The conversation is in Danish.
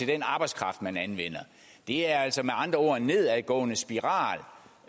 den arbejdskraft man anvender det er altså med andre ord en nedadgående spiral